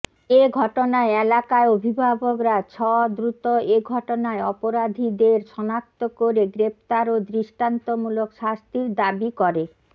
এঘটনায় এলাকায় অভিভাবকরা ছ দ্রুত এঘটনায় অপরাধিদের সনাক্ত করে গ্রেফতার ও দৃষ্টান্তমুলক শাস্তির দাবী করে